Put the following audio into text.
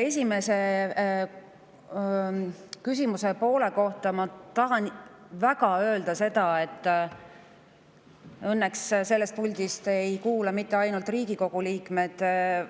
Küsimuse esimese poole kohta tahan ma väga öelda seda – õnneks ei kuula siit puldist mitte ainult Riigikogu liikmed,